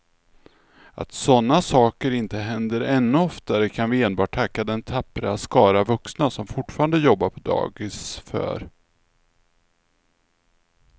Att sådana saker inte händer ännu oftare kan vi enbart tacka den tappra skara vuxna som fortfarande jobbar på dagis för.